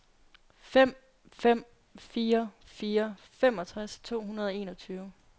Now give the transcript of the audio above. fem fem fire fire femogtres to hundrede og enogtyve